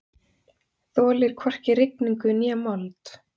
Þolir hvorki rigningu né mold.